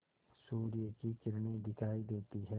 सूर्य की किरणें दिखाई देती हैं